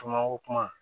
Tomako kuma